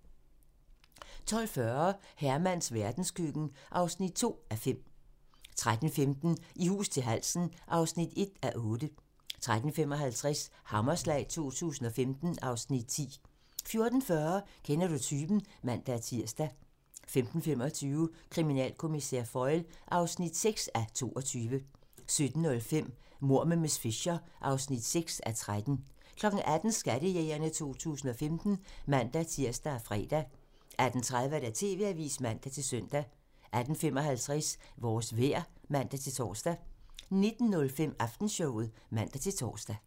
12:40: Hermans verdenskøkken (2:5) 13:15: I hus til halsen (1:8) 13:55: Hammerslag 2015 (Afs. 10) 14:40: Kender du typen? (man-tir) 15:25: Kriminalkommissær Foyle (6:22) 17:05: Mord med miss Fisher (6:13) 18:00: Skattejægerne 2015 (man-tir og fre) 18:30: TV-avisen (man-søn) 18:55: Vores vejr (man-tor) 19:05: Aftenshowet (man-tor)